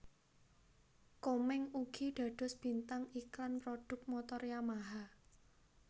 Komeng ugi dados bintang iklan prodhuk motor Yamaha